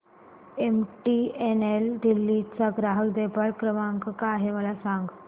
MTNL Delhi चा ग्राहक देखभाल नंबर काय आहे मला सांग